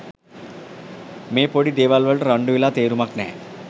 මේ පොඩි දේවල් වලට රණ්ඩු වෙලා තේරුමක් නැහැ